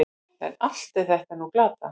En allt er þetta nú glatað.